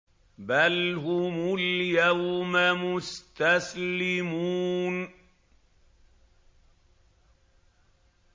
بَلْ هُمُ الْيَوْمَ مُسْتَسْلِمُونَ